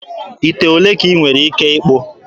Ite ole ka ị nwere ike ịkpụta?